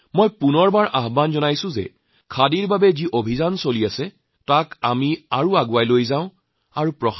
মই পুনৰবাৰ কওঁ যে খাদীৰ বাবে যি অভিযান চলিছে তাক আমি আৰু অধিক আগুৱাই নিম